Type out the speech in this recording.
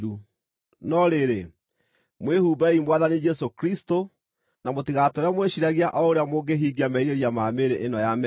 No rĩrĩ, mwĩhumbei Mwathani Jesũ Kristũ, na mũtigatũũre mwĩciiragia o ũrĩa mũngĩhingia merirĩria ma mĩĩrĩ ĩno ya mehia.